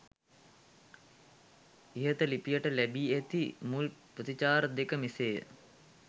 ඉහත ලිපියට ලැබී ඇති මුල් ප්‍රතිචාර දෙක මෙසේය